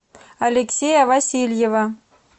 алексея васильева